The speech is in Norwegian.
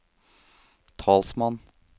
talsmann